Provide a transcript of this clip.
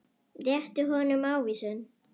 Rétti honum ávísun.